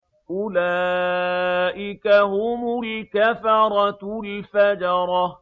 أُولَٰئِكَ هُمُ الْكَفَرَةُ الْفَجَرَةُ